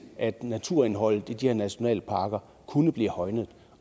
at naturindholdet i de her nationalparker kunne blive højnet